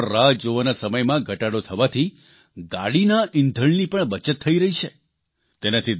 toll plaza ઉપર રાહ જોવાના સમયમાં ઘટાડો થવાથી ગાડીના ઇંધણની પણ બચત થઇ રહી છે